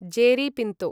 Jerry Pinto